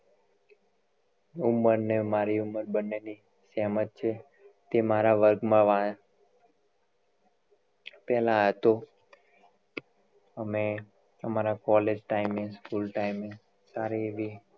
ઉંમર ને મારી બંને ની same જ છે તે મારા વર્ગ માં પેહલા હતો અમે અમારા college time એ school time એ સારી એવી